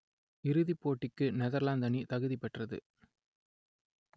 இறுதிப் போட்டிக்கு நெதர்லாந்து அணி தகுதி பெற்றது